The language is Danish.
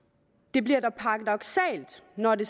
bliver paradoksalt når det